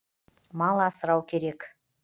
мал асырау керек